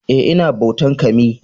Eh, I na bautan" kami"